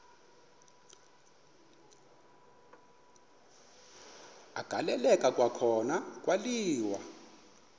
agaleleka kwakhona kwaliwa